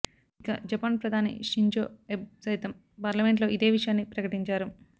ఇక జపాన్ ప్రధాని Shinzo Abe సైతం పార్లమెంట్లో ఇదే విషయాన్ని ప్రకటించారు